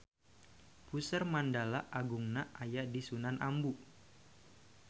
Puseur Mandala Agungna aya di Sunan Ambu